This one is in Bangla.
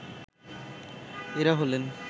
এরা হলেন